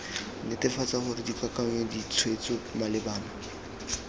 netefatsa gore dikakanyo ditshwetso malebana